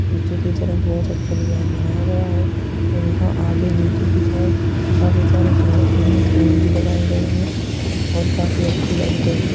नीचे कि तरफ बोहत अच्छी डिज़ाइन बनाया गया है और यहां आगे नीचे की तरफ काफी सारे सुन्दर-सुन्दर फूल भी लगाये गए हैं और काफी अच्छी लाइट हैं।